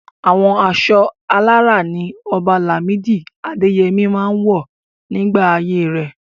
Àwọn aṣọ alárá ní Ọba Lamidi Adeyemi máa ń wọ̀ nígbà ayé rẹ̀.